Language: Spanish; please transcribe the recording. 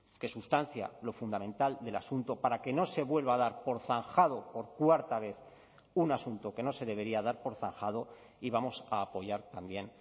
que sustancia lo fundamental del asunto para que no se vuelva a dar por zanjado por cuarta vez un asunto que no se debería dar por zanjado y vamos a apoyar también